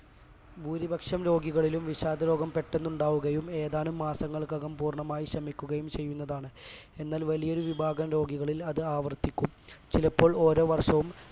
ഭൂരിപക്ഷം രോഗികളിലും വിഷാദ രോഗം പെട്ടന്നുണ്ടാവുകയും ഏതാനും മാസങ്ങൾക്കകം പൂർണമായി ശമിക്കുകയും ചെയ്യുന്നതാണ് എന്നാൽ വലിയൊരു വിഭാഗം രോഗികളിൽ അത് ആവർത്തിക്കും ചിലപ്പോൾ ഓരോ വർഷവും